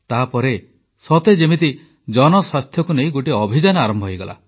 ତାପରେ ସତେ ଯେମିତି ଜନସ୍ୱାସ୍ଥ୍ୟକୁ ନେଇ ଗୋଟିଏ ଅଭିଯାନ ଆରମ୍ଭ ହୋଇଗଲା